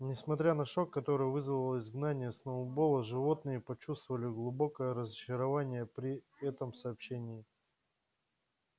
несмотря на шок который вызвало изгнание сноуболла животные почувствовали глубокое разочарование при этом сообщении